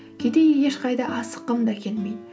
кейде ешқайда асыққым да келмейді